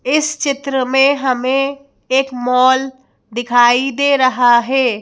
इस चित्र में हमें एक मॉल दिखाई दे रहा हैं।